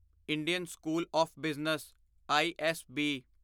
Indian school of business ISB